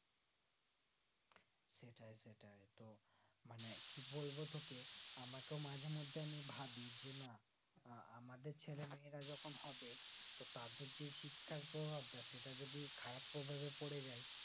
সেটাই সেটাই তো মানে কি বলবো তোকে আমাকেও মাঝে মধ্যে আমি ভাবি যে না আহ আমাদের ছেলেমেয়েরা যখন হবে তো তাদের শিক্ষার প্রভাবটা সেটা যদি খারাপ প্রভাবে পড়েযায়